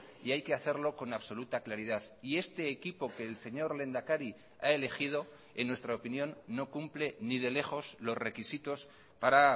y hay que hacerlo con absoluta claridad y este equipo que el señor lehendakari ha elegido en nuestra opinión no cumple ni de lejos los requisitos para